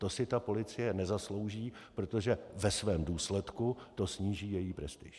To si ta policie nezaslouží, protože ve svém důsledku to sníží její prestiž.